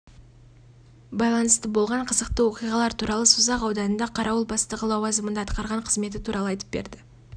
байланысты болған қызықты оқиғалар туралы созақ ауданында қарауыл бастығы лауазымында атқарған қызметі туралы айтып берді